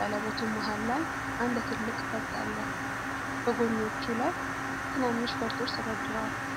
ቀለበቱ መሃል ላይ አንድ ትልቅ ፈርጥ አለው፣ በጎኖቹ ላይ ትናንሽ ፈርጦች ተደርድረዋል።